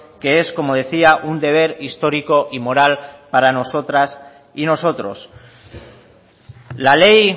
que es como decía un deber histórico y moral para nosotras y nosotros la ley